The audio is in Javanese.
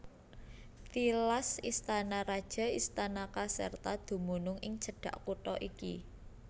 Tilas istana raja istana Caserta dumunung ing cedhak kutha iki